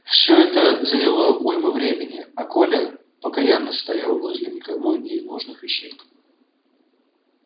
всё это заняло уйму времени а коля покоянно стоял возле никому не нужных вещей